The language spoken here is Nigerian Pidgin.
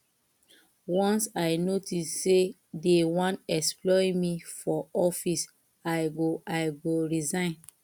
once i notice sey dey wan exploit me for office i go i go resign